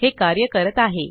हे कार्य करत आहे